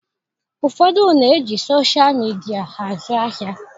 Ụfọdụ na-eji soshal midia azụ ahịa.